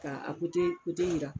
Ka a jiran